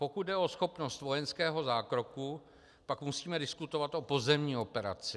Pokud jde o schopnost vojenského zákroku, pak musíme diskutovat o pozemní operaci.